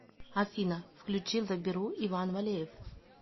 афина включи заберу иван валеев